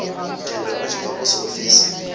thendelo a tshi bva posofisi